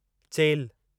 चेल्हि